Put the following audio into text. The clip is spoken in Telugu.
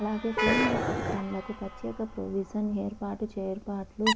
అలాగే సీనియర్ సిటిజన్లకు ప్రత్యేక ప్రొవిజన్ ఏర్పాటు చేర్పాటు